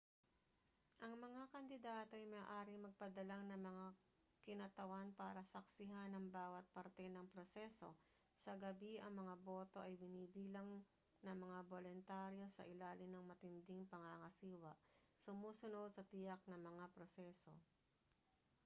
ang mga kandidato ay maaaring magpadala ng mga kinatawan para saksihan ang bawat parte ng proseso sa gabi ang mga boto ay binibilang ng mga boluntaryo sa ilalim ng matinding pangangasiwa sumusunod sa tiyak na mga proseso